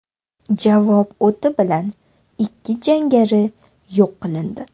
Javob o‘ti bilan ikki jangari yo‘q qilindi.